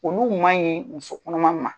Konko ɲuman ye muso kɔnɔma ma